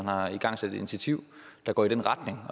har igangsat et initiativ der går i den retning